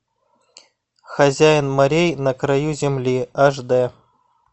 хозяин морей на краю земли аш дэ